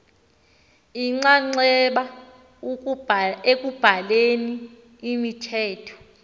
inxaxheba ekubhaleni imithetho